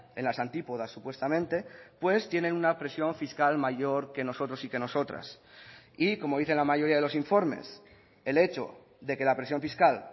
en las antípodas supuestamente pues tienen una presión fiscal mayor que nosotros y que nosotras y como dicen la mayoría de los informes el hecho de que la presión fiscal